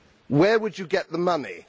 Where would you get the money?